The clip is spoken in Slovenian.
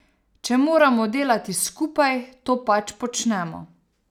Če moramo delati skupaj, to pač počnemo.